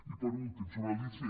i per últim sobre l’icf